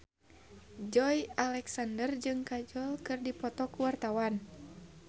Joey Alexander jeung Kajol keur dipoto ku wartawan